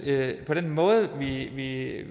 at den måde vi i